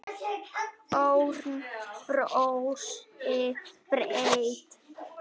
Örn brosti breitt.